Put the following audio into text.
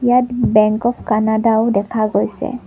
ইয়াত bank of কানাডাও দেখা গৈছে।